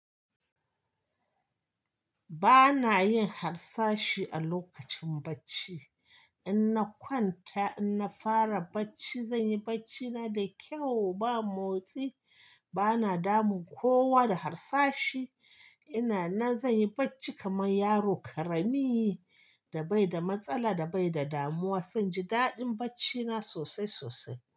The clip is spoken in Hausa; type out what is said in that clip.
Ba na yin harsashi a lokacin bacci. In na kwanta, in na fara bacci, zan yi bacci na da kyau, ba motsi, ba na damun kowa da harsashi. Ina nan zan yi bacci kamar yaro ƙarami da bai da matsala, da bai da damuwa. Zan ji daɗin bacci na sosai sosai.